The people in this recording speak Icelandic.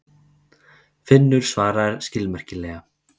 Finnur svaraði skilmerkilega.